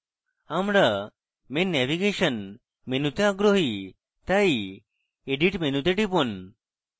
আমরা main navigation menu তে আগ্রহী তাই edit menu তে টিপুন